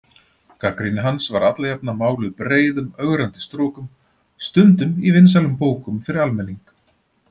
Gagnrýni hans var alla jafna máluð breiðum ögrandi strokum, stundum í vinsælum bókum fyrir almenning.